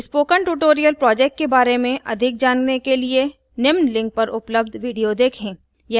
spoken tutorial project के बारें में अधिक जानने के लिए निम्न link पर उपलब्ध video देखें